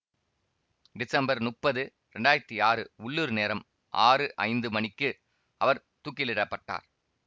December முப்பது இரண்டாயிரத்தி ஆறு உள்ளூர் நேரம் ஆறு ஐந்து மணிக்கு அவர் தூக்கிலிடப்பட்டார்